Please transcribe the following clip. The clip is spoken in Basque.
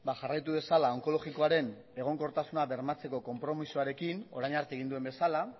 jarraitu dezala onkologikoaren egonkortasuna bermatzeko konpromisoarekin orain arte egin duen bezala